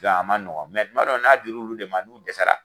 a ma nɔgɔ mɛ tuma dɔ la n'a dir'olu de ma n'u dɛsɛra